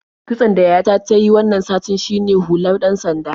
Kitson da yayata ta yi wannan satin shine hular ɗan-sanda.